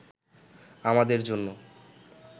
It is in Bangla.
আমাদের জন্য